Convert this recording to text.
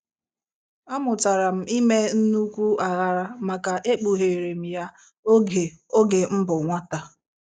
A mụtara m ime nnukwu aghara maka ekpugherem ya oge oge mbụ nwata.